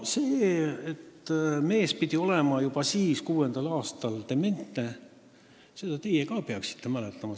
Seda, et mees pidi olema juba siis, 2006. aastal, dementne, peaksite ka teie mäletama.